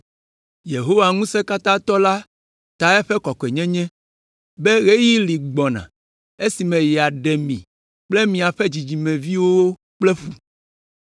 Yehowa Ŋusẽkatãtɔ la ta eƒe kɔkɔenyenye, be ɣeyiɣi li gbɔna esime yeaɖe mi kple miaƒe dzidzimeviwo kple ƒu.